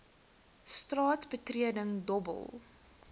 straat betreding dobbel